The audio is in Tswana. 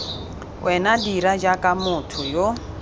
wena dira jaaka motho yo